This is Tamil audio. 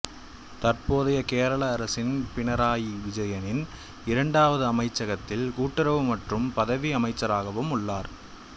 தற்போதைய கேரள அரசின் பிணறாயி விஜயனின் இரண்டாவது அமைச்சகத்தில் கூட்டுறவு மற்றும் பதிவு அமைச்சராகவும் உள்ளார்